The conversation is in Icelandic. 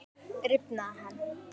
Rifnaði hann?